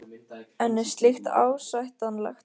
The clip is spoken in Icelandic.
En er slíkt ásættanlegt?